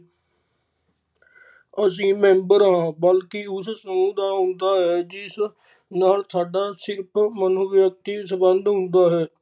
ਅਸੀਂ member ਹਾਂ ਬਲਕਿ ਉਸ ਸਮੂਹ ਦਾ ਆਂਦਾ ਹੈ ਜਿਸ ਨਾਲ ਸਾਡਾ ਸਿਰਫ ਮਨੋਵਿਯਕਤੀ ਸੰਬੰਧ ਹੁੰਦਾ ਹੈ